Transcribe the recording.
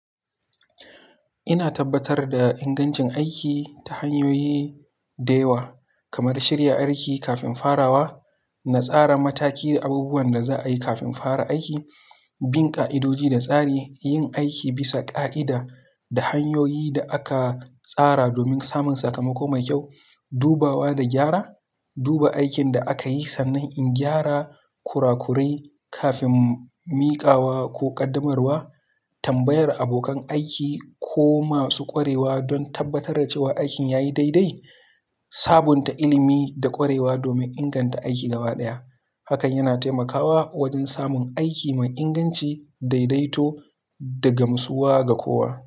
Ina tabbatar da ingancin aiki ta hanyoyi da yawa kamar shirya aiki kafin farawa, tsara mataki da abubuwan da za a yi kafin fara aiki, bin ƙa'idodi da tsari, yin aiki bisa ƙa'ida da hanyoyin da aka tsara domin samun sakamako mai kyau, dubawa da gyara, duba aikin da akayi sannan in gyara kura kurai kafin miƙawa ko ƙaddamar wa, tambayar abokan aiki ko masu ƙwarewa don tabbatar da cewa aikin yayi dai-dai. Sabunta ilimi da ƙwarewa domin inganta aiki gaba ɗaya. Hakan yana taimakawa wajen samun aiki mai inganci daidaito daga musuwa ga kowa.